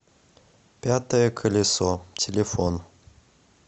пятое колесо телефон